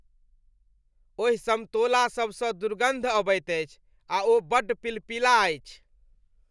ओहि समतोला सब सँ दुर्गन्ध अबैत अछि आ ओ बड्ड पिलपिला अछि।